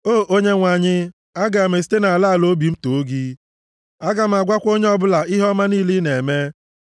O Onyenwe anyị, aga m esite nʼala ala obi m too gị, aga m agwakwa onye ọbụla ihe ọma niile ị na-eme.